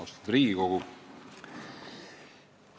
Austatud Riigikogu!